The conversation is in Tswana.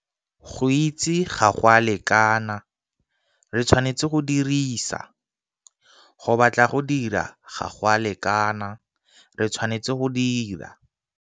Go itse ga go a lekana, re tshwanetse go dirisa. Go batla go dira ga go a lekana, re tshwanetse go dira.